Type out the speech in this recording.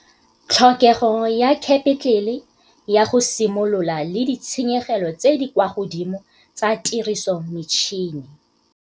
Tlhokego ya khepetlele ya go simolola le ditshenyegelo tse di kwa godimo tsa tirisometšhine